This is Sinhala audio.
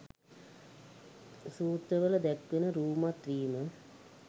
සූත්‍රවල දැක්වෙන රූමත් වීම